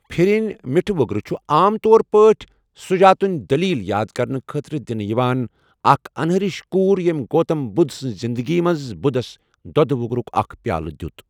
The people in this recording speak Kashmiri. پھِرِنۍ، مِٹھہٕ وگرٕ چھُ عام طور پٲٹھۍ سُجاتٕنۍ دلیٖل یاد کرنہٕ خٲطرٕ دِنہٕ یِوان، اکھ اَنہرِش کوٗر یٔمۍ گوتم بدھ سنٛز زندگی منٛز بدھس دۄدٕ وگرُک اکھ پیالہٕ دِیُت۔